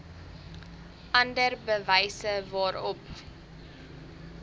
ander bewyse waarop